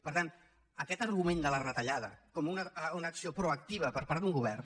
per tant aquest argument de la retallada com una acció proactiva per part d’un govern